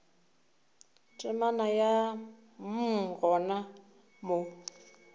temana ya mm gona mo